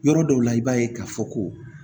Yɔrɔ dɔw la i b'a ye k'a fɔ ko